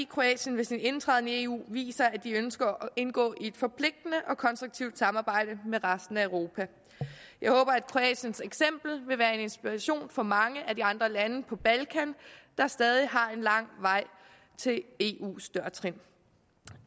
kroatien med sin indtræden i eu viser at de ønsker at indgå i et forpligtende og konstruktivt samarbejde med resten af europa jeg håber at kroatiens eksempel vil være til inspiration for mange af de andre lande på balkan der stadig har en lang vej til eus dørtrin